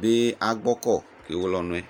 bi agbɔkɔ kewele ɔnʋ yɛ